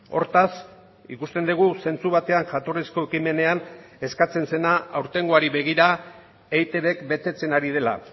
hortaz ikusten dugu zentzu batean jatorrizko ekimenean eskatzen zena aurtengoari begira eitbk betetzen ari dela